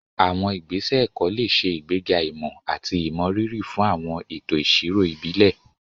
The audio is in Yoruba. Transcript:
Àwọn ìgbésẹ̀ ẹ̀kọ́ lè ṣe ìgbéga ìmọ̀ àti ìmọrírì fún àwọn ètò ìṣirò ìbílẹ̀.